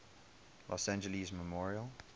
los angeles memorial